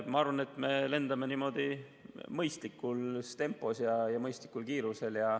Ma arvan, et me lendame mõistlikus tempos ja mõistlikul kiirusel.